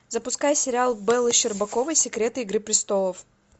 запускай сериал бэлы щербаковой секреты игры престолов